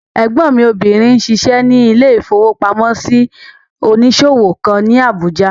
Ẹ̀gbọ́n mi obìnrin n ṣiṣẹ́ ní ilé-ìfowópamọ́sí onísòwò kan ní Àbújá